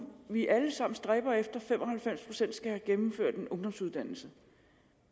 vi alle sammen stræber efter at fem og halvfems procent skal have gennemført en ungdomsuddannelse